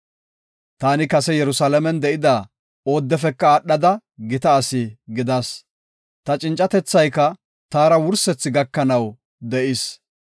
Taani kase Yerusalaamen de7ida oodefeka aadhada gita asi gidas. Ta cincatethayka taara wursethi gakanaw de7is.